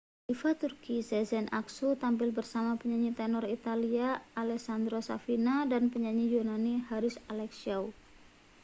diva turki sezen aksu tampil bersama penyanyi tenor italia alessandro safina dan penyanyi yunani haris alexiou